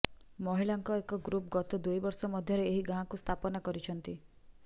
ମହିଳାଙ୍କ ଏକ ଗ୍ରୁପ ଗତ ଦୁଇ ବର୍ଷ ମଧ୍ୟରେ ଏହି ଗାଁକୁ ସ୍ଥାପନା କରିଛନ୍ତି